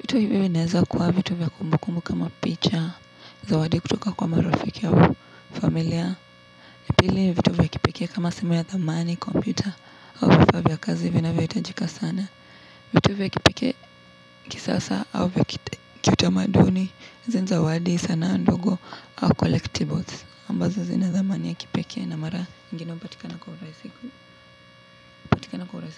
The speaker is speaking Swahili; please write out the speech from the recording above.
Vitu hivi vinaeneza kuwa vitu vya kumbukumbu kama picha, zawadi kutoka kwa marafiki au familia. Pili vitu vya kipekee kama simu ya thamani, kompyuta, au vifaa vya kazi vinavyo itajika sana. Vitu vya kipekee kisasa au vya kiutamaduni, izi ni zawadi sana ndogo au collectibles. Ambazo zina thamani ya kipekee na mara ingine hupatikana kuhurasi kini.